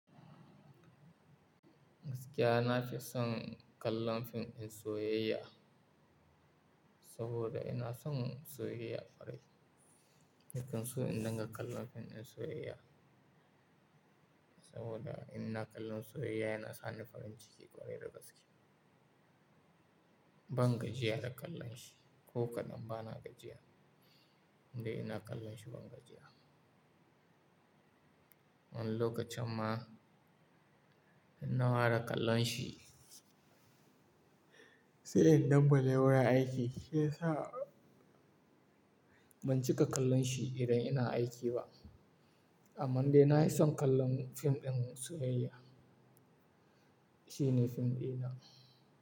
Gaskiya na fi son kallon fim ɗin soyayya saboda ina son soyayya kwarai. Nakan son in dinga kallon fim ɗin soyayya saboda in ina kallon soyayya yana sa ni farin ciki ƙwarai da gaske. Ban gajiya da kallon shi ko kaɗan bana gajiya. Indai ina kallon shi ban gajiya. Wani lokacin ma in na fara kallon shi sai in dambale wurin aiki, shi yasa ban cika kallon shi idan ina aiki ba. Amman dai nafi son kallon fim ɗin soyayya. Shi ne fim ɗina.